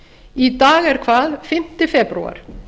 í dag er hvað fimmta febrúar